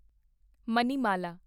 Manimala